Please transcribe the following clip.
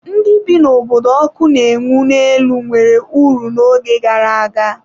Ndị bi n'obodo ọkụ na-enwu n'elu nwere uru n'oge gara aga.